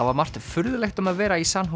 var margt furðulegt um að vera í San